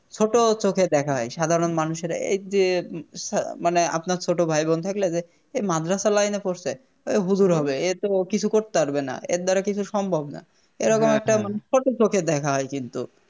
ছোট চোখে দেখা হয় সাধারণ মানুষেরা একদিয়ে মানে আপনার ছোট ভাইবোন থাকলে যে এই মাদ্রাসা Line এ পড়ছে এ হুজুর হবে এতো কিছু করতে পারবে না এর দ্বারা কিছু সম্ভব না এরকম একটা মানে ছোট চোখে দেখা হয় কিন্তু